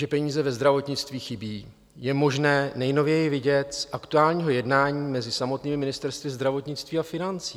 Že peníze ve zdravotnictví chybějí, je možné nejnověji vidět z aktuálního jednání mezi samotnými ministerstvy zdravotnictví a financí.